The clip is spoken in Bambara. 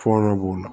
Fɔɔnɔ b'o la